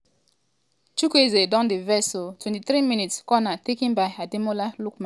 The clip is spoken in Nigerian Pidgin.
chukwueze don dey vex oooo 23mins- corner taken by ademola lookman as ball go back in control.